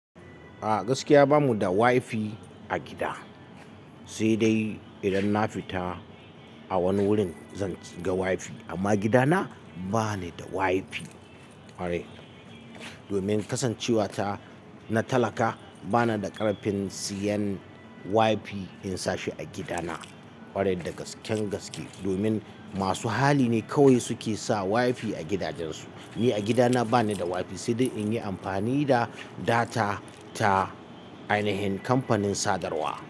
A gaskiya bamu da WiFi a gida, sai dai idan na fita a wani wurin zan shiga WiFi. Amma gidana ba ni da WiFi, kwarai. Domin kasancewata na talaka bana da ƙarfin siyan WiFi in sa shi a gidana. Kwarai da gasken gaske domin masu hali ne kawai suke sa WiFi a gidajensu. Ni a gidana ba ni da WiFi sai dai in yi amfani da data ta Ainihin kamfanin sadarwa.